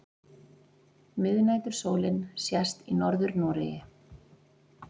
Miðnætursólin sést í Norður-Noregi.